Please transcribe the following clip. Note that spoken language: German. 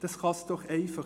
Das kann nicht sein.